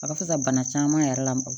A bɛ se ka bana caman yɛrɛ lamaga